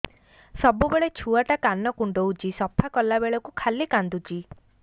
ସବୁବେଳେ ଛୁଆ ଟା କାନ କୁଣ୍ଡଉଚି ସଫା କଲା ବେଳକୁ ଖାଲି କାନ୍ଦୁଚି